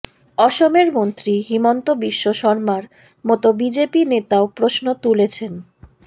অসমের মন্ত্রী হিমন্ত বিশ্ব শর্মার মতো বিজেপি নেতাও প্রশ্ন তুলেছেন